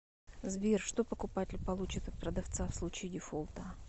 сбер что покупатель получит от продавца в случае дефолта